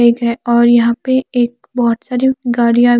एक है और यहा पे एक बोहोत सारी गाड़िया --